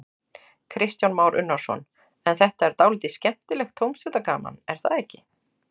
Kristján Már Unnarsson: En þetta er dálítið skemmtilegt tómstundagaman, er það ekki?